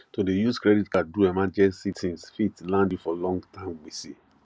to dey use credit card do emergency tins fit land you for longterm gbese